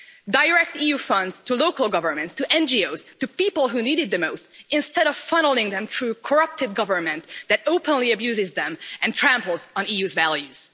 Direct EU funds to local governments, to NGOs, to people who need it the most instead of funnelling them through a corrupt government that openly abuses them and tramples on the EU's values.